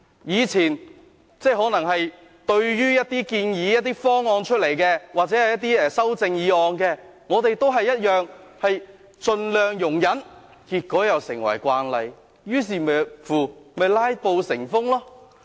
以前，對於一些建議或修正案，我們也盡量容忍，結果又成為慣例，導致"拉布"成風。